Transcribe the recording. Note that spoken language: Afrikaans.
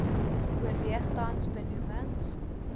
oorweeg tans benoemings